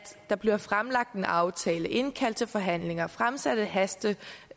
der bliver fremlagt en aftale indkaldt til forhandlinger fremsat et hasteforslag